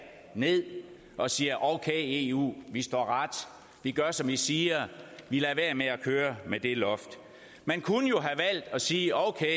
ned og siger okay eu vi står ret vi gør som i siger vi lader være med at køre med det loft man kunne jo have valgt at sige okay